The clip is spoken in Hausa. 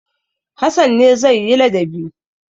Hassan ne zai yi ladabi.